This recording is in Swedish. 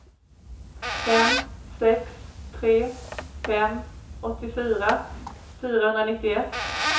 fem sex tre fem åttiofyra fyrahundranittioett